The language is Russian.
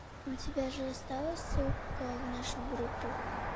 у тебя же осталось ссылка в нашу группу